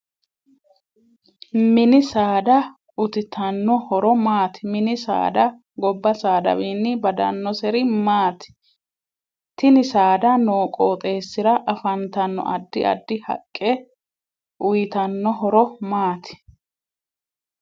MIni saada utiitanno horo maati mini saada gobba saadawiini badanoseri maati tini saada noo qooxeesira afantanno addi addi haqqe uyiitannohoro maati